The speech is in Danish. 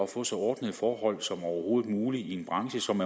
få så ordnede forhold som overhovedet muligt i en branche som